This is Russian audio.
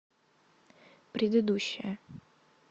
предыдущая